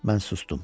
Mən sustum.